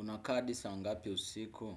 Unakaa adi saa ngapi usiku?